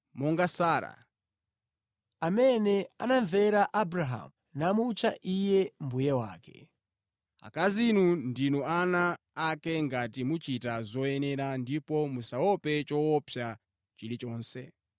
monga Sara, amene anamvera Abrahamu namutcha iye mbuye wake. Akazi inu ndinu ana ake ngati muchita zoyenera, ndipo musaope choopsa chilichonse.